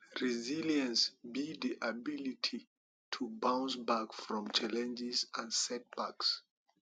resilience be di ability to bounce back from challenges and setbacks